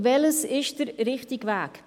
Welches ist der richtige Weg?